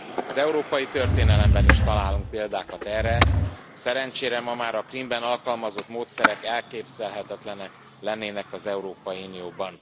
Az európai történelemben is találunk példákat erre, szerencsére ma már a Krímben alkalmazott módszerek elképzelhetetlenek lennének az Európai Unióban.